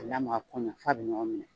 Ka lamaga ko ɲuman f'a bɛ ɲɔgɔn minɛ.